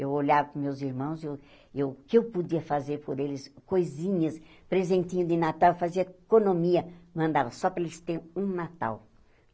Eu olhava para os meus irmãos e eu eu o que eu podia fazer por eles, coisinhas, presentinho de Natal, eu fazia economia, mandava só para eles terem um Natal.